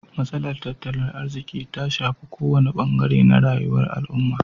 Matsalar tattalin arziki ta shafar kowane bangare na rayuwa al'umma.